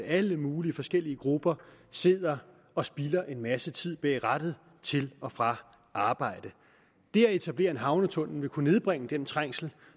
alle mulige forskellige grupper sidder og spilder en masse tid bag rattet til og fra arbejde det at etablere en havnetunnel vil kunne nedbringe den trængsel